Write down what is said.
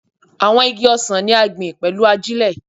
Àwọn igi ọsàn ni a gbìn pẹ̀lú ajílẹ̀